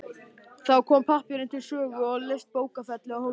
Þá kom pappírinn til sögu og leysti bókfellið af hólmi.